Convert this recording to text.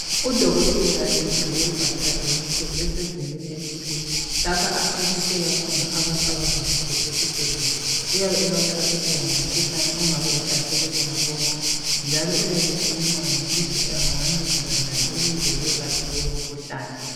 Udokotela egqoke ibhatshi lakhe elimhlophe esegubini elithile lapha achasisela khona abantu abavakatshele esibhedlela uyabe ebachasisela ngomkhuhlane ongabe ehlasele bona bonke njalo uyabe ekhuluma ngokuthi engabancedisa njani ukuze belaphe lowo mkhuhlane.